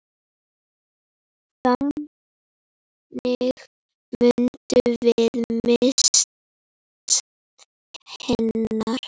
Þannig munum við minnast hennar.